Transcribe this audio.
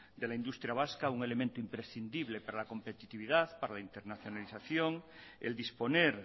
de la industria vasca un elemento imprescindible para la competitividad para la internacionalización el disponer